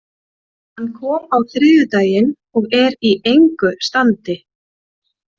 Hann kom á þriðjudaginn og er í engu standi.